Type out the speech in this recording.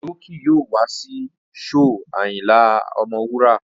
Òjó ki yóò wá sí shóò Ayinla Ọmọwura